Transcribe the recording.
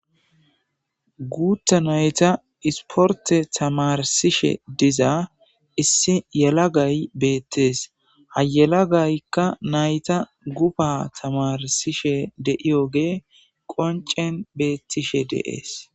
Guuta nayta isporte tamarsishe diza issi yalagay beettees hayalagaykka nayta guba tamarsishe de'iyoge qoncen beettishe deees.